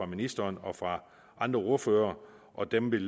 ministeren og fra andre ordførere og dem vil